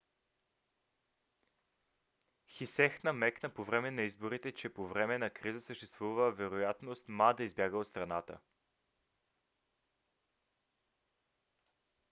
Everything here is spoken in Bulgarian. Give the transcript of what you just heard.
хсиех намекна по време на изборите че по време на криза съществува вероятност ма да избяга от страната